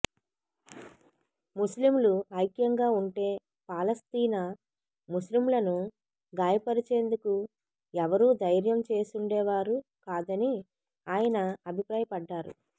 ముస్లింలు ఐక్యంగా ఉంటే పాలస్తీనా ముస్లింలను గాయపరిచేందుకు ఎవరూ ధైర్యం చేసుండేవారు కాదని ఆయన అభిప్రాయపడ్డారు